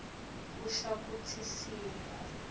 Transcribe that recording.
kusho kutsi simo